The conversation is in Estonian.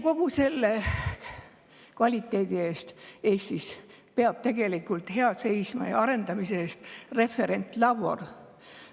Kogu selle kvaliteedi ja arendamise eest peab Eestis tegelikult hea seisma referentlabor.